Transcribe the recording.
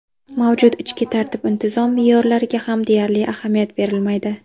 Mavjud ichki tartib-intizom me’yorlariga ham deyarli ahamiyat berilmaydi.